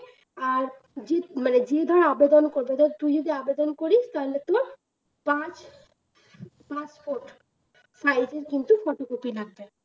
আর যে মানে যে ধর আবেদন করবে ধর তুই যদি আবেদন করিস তাহলে তোর পাঁচ passport size এর কিন্তু photocopy লাগবে